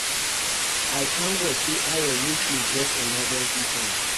I thank God say Ayo make me get emergency fund